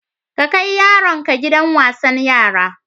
Ka kai yaronka gidan wasan yara.